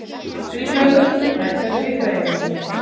Grímlaugur, hækkaðu í græjunum.